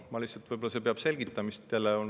Lihtsalt, võib-olla see vajab selgitamist.